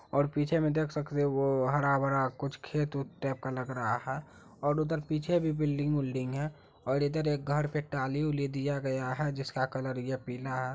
और पीछे में देख सकते हो वो हरा बरा कुछ खेत उत टाइप का लग रहा हैं और उधर पीछे भी बिल्डिंग विलडिंग हैं और इधर एक घर पे ट्रालि विली दिया गया हैं जिसका कलर ये पीला हैं।